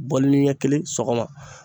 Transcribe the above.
ni ɲɛ kelen sɔgɔma